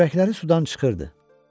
Kürəkləri sudan çıxırdı.